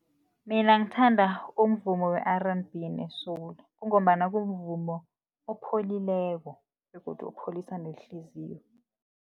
Mina ngithanda umvumo we-R_N_B ne-soul, kungombana kumvumo opholileko begodu opholisa nehliziyo.